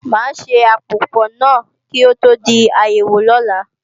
Máa ṣe àpòpò náà kí ó tó di àyẹ̀wò ọ̀la